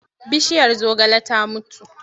Bishiyar zogalenmu ta mutu.